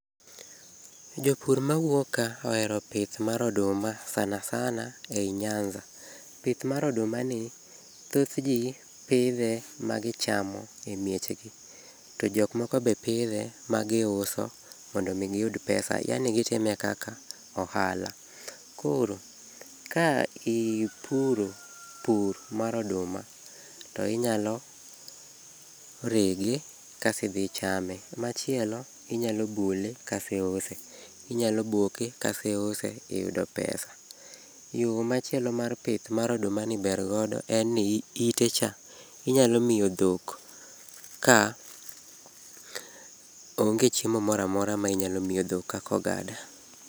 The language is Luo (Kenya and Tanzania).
Jopur mawuok ka oero pith mar oduma sana sana ei nyanza. Pith mar odumani thoth jii pidhe magichamo e mieche gi. To jok moko be pidhe magiuso mondo mi giyud pesa yani gitime kaka ohala. Koro, ka ipuro pur mar oduma to inyalo rege kas idhi ichame. Machielo, inyalo bule kas iuse, inyalo boke kas iuse iyudo pesa. Yo machielo ma pith mar odumani ber godo en ni ite cha inyalo miyo dhok ka onge chiemo moro amora ma inyalo miyo dhok kaka ogada.